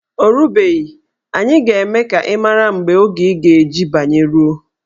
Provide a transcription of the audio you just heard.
O rubeghi, anyị ga-eme ka ị mara mgbe oge ị ga-eji banye ruo.